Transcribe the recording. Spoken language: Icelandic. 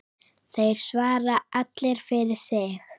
Þeir svara allir fyrir sig.